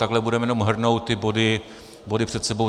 Takhle budeme jenom hrnout ty body před sebou.